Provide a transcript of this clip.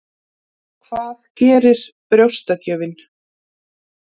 Það gerir brjóstagjöfin.